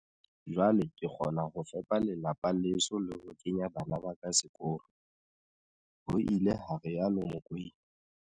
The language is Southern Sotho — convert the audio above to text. Jwale ke kgona ho fepa lelapa leso le ho kenya bana ba ka sekolo, ho ile ha rialo Mokoena.